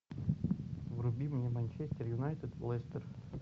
вруби мне манчестер юнайтед лестер